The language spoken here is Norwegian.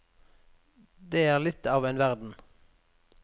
Det er litt av en verden.